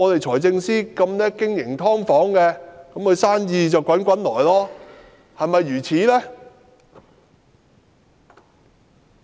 財政司司長最懂經營"劏房"，他的生意便能滾滾而來了，是否如此呢？